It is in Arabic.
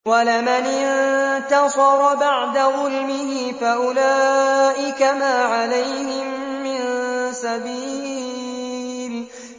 وَلَمَنِ انتَصَرَ بَعْدَ ظُلْمِهِ فَأُولَٰئِكَ مَا عَلَيْهِم مِّن سَبِيلٍ